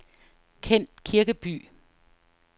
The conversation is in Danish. Kent Kirkeby